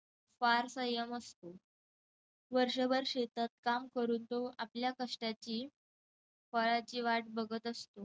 फार संयम असतो. वर्षभर शेतात काम करून तो आपल्या कष्टाची फळाची वाट बघत असतो.